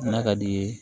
N'a ka d'i ye